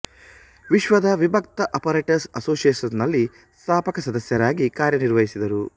ವಿಶ್ವದ ವಿಭಕ್ತ ಆಪರೇಟರ್ಸ್ ಅಸೋಸಿಯೇಷನ್ದಲ್ಲಿ ಸ್ಥಾಪಕ ಸದಸ್ಯರಾಗಿ ಕಾರ್ಯ ನಿರ್ವಹಿಸಿದರು